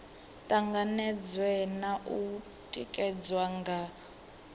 tanganedzwe na u tikedzwa nga